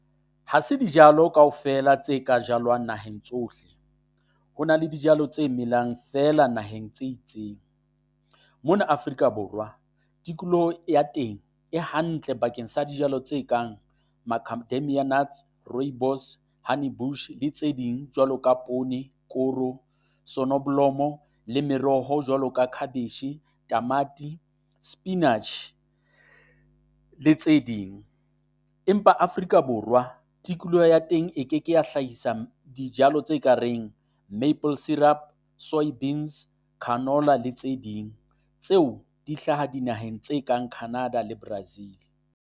Ha se dijalo kaofela tse ka jalwang naheng tsohle, ho na le dijalo tse melang feela naheng tse itseng. Mona Afrika Borwa tikoloho ya teng e hantle bakeng sa dijalo tse kang Macadamia Nuts, Rooibos, Honey Bush le tse ding jwalo poone, koro, Sonneblom-o, le meroho jwalo ka cabbage, tamati, spinach le tse ding. Empa Afrika Borwa tikoloho ya teng e keke ya hlahisa dijalo tse ka reng maple syrup, soy beans, canola le tse ding tseo di hlaha dinaheng tse kang Canada le Brazil.